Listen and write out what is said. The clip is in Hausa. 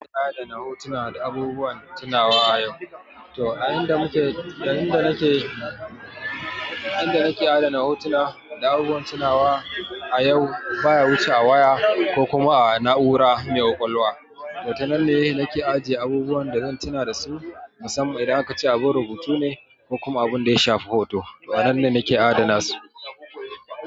Adana hotuna da abubuwan tunawa yau. To a inda mu ke, da inda nake, inda nake adana hotuna da abubuwan tunawa a yau baya wuce a waya ko kuma a na'ura mai ƙwaƙwalwa. To ta nan ne nake ajiye abubuwan da zan tuna da su, musamman idan aka ce abin rubutu ne ko kuma abun da ya shafi hoto. To a nan ne nake adana su.